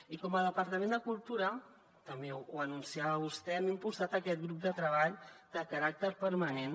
i com a departament de cultura també ho anunciava vostè hem impulsat aquest grup de treball de caràcter permanent